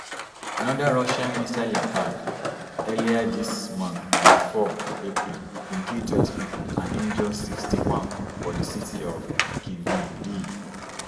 another russian missile attack earlier dis month on four april bin kill twenty pipo and injure sixty-one for di city of kryvyi rih